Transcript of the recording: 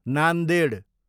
Nanded